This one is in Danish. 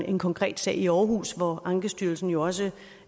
en konkret sag i aarhus hvor ankestyrelsen jo også